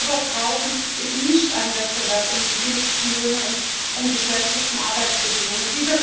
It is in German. Was wir aber brauchen, ist kein Wettbewerb um die billigsten Löhne und um die schlechtesten Arbeitsbedingungen.